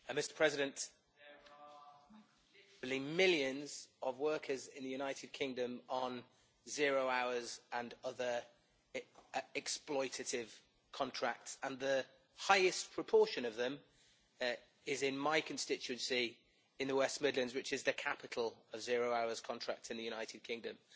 Mr President, there are literally millions of workers in the United Kingdom on zero hours and other exploitative contracts, and the highest proportion of them is in my constituency in the West Midlands, which is the capital of zero hours contracts in the United Kingdom.